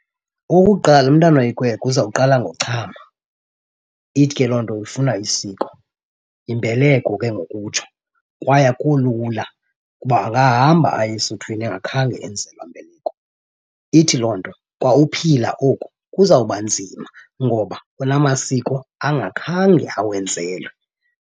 Okokuqala umntana oyikwekwe uzawuqala ngochama. Ithi ke loo nto ufuna isiko, imbeleko ke ngokutsho, kwaye akuko lula ukuba angahamba aye esuthwini engakhange enzelwa mbeleko. Ithi loo nto kwa uphila oku kuzawuba nzima ngoba kunamasiko angakhange awenzelwe.